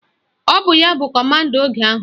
Ọ bụ ya bụ kọmanda oge ahụ